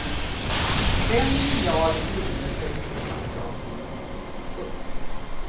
Fem miljarder kronor ska i så fall dras in. punkt